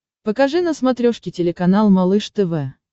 покажи на смотрешке телеканал малыш тв